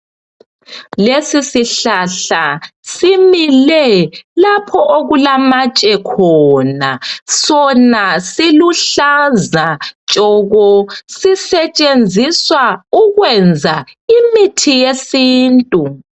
Lesisihlahla simile lapho okulamatshe khona. Sona siluhlaza tshoko sisetshenziswa ukwenza imithi yesintu.